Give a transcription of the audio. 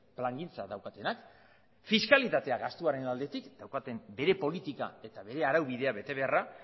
plangintza daukatenak fiskalitatea gastuaren aldetik daukaten bere politika eta bere araubidea bete beharra